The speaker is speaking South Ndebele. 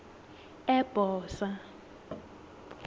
ebhosa